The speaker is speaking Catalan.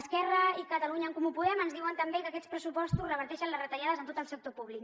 esquerra i catalunya en comú podem ens diuen també que aquests pressupostos reverteixen les retallades en tot el sector públic